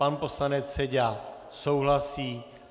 Pan poslanec Seďa souhlasí.